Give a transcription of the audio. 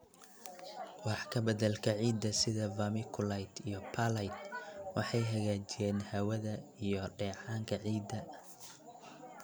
Wax ka beddelka ciidda sida vermiculite iyo perlite waxay hagaajiyaan hawada hawada iyo dheecaanka ciidda.